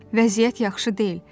Vəziyyət yaxşı deyil.